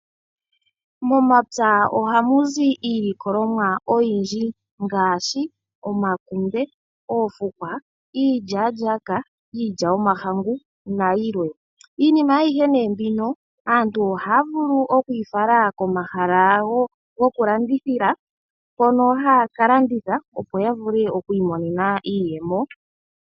Momapya ohamuzi iilikolomwa oyindji ngaashi omakunde, oofukwa, iilya-lyaka, iilya yomahangu na yilwe. Iinima ayihe mbino aantu ohaya vulu oku yi fala komahala goku landithila. Mpono ha ya ka landitha opo yavule oku imonenano iiyemo.